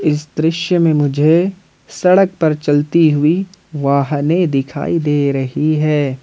इस दृश्य में मुझे सड़क पर चलती हुई वाहने दिखाई दे रही है।